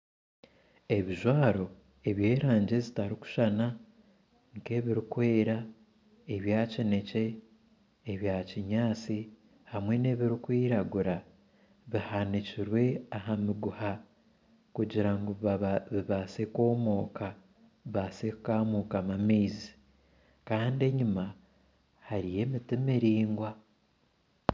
Ebijwaro eby'erangi ezitarikushushana nkebirikwera ebya kinekye ebyakinyatsi hamwe nebirikwiragura bihanikire aha miguha kugira ngu bibaase kwomooka bibaase kukamukamu amaizi Kandi enyuma hariyo emiti miraingwa